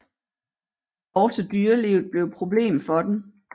Også dyrelivet blev et problem for dem